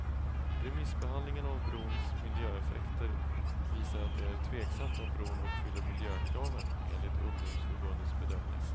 Remissbehandlingen av brons miljöeffekter visar att det är tveksamt om bron uppfyller miljökraven, enligt ungdomsförbundets bedömning.